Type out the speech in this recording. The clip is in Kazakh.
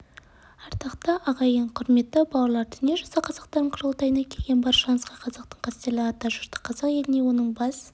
ардақты ағайын құрметті бауырлар дүниежүзі қазақтарының құрылтайына келген баршаңызға қазақтың қастерлі атажұрты қазақ еліне оның бас